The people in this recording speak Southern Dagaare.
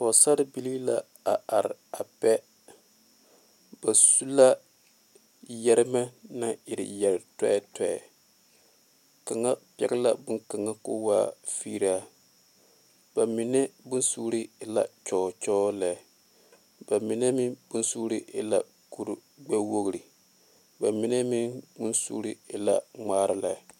Pɔgesera bibilee la a are a pɛ ba su la yeeremɛ naŋ e yeere tɛɛtɛɛ kaŋa pegle la boŋ kaŋa ko kaa fingraa ba mine boŋ suure e la kyɔɔkyɔɔ lɛ ba mine meŋ boŋ suure e la kuri gbe wogi ba mine meŋ boŋ suure e la ŋmaare lɛ.